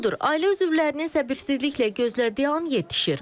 Budur, ailə üzvlərinin səbirsizliklə gözlədiyi an yetişir.